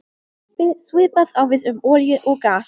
Svipað á við um olíu og gas.